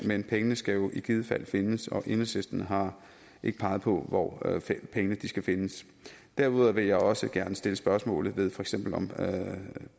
men pengene skal jo i givet fald findes og enhedslisten har ikke peget på hvor pengene skal findes derudover vil jeg også gerne sætte spørgsmålstegn for eksempel